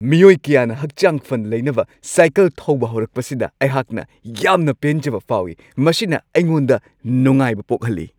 ꯃꯤꯑꯣꯏ ꯀꯌꯥꯅ ꯍꯛꯆꯥꯡ ꯐꯅ ꯂꯩꯅꯅꯕ ꯁꯥꯏꯀꯜ ꯊꯧꯕ ꯍꯧꯔꯛꯄꯁꯤꯗ ꯑꯩꯍꯥꯛꯅ ꯌꯥꯝꯅ ꯄꯦꯟꯖꯕ ꯐꯥꯎꯋꯤ ꯫ ꯃꯁꯤꯅ ꯑꯩꯉꯣꯟꯗ ꯅꯨꯡꯉꯥꯏꯕ ꯄꯣꯛꯍꯜꯂꯤ ꯫